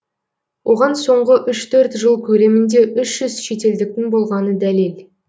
оған соңғы үш төрт жыл көлемінде үш жүз шетелдіктің болғаны дәлел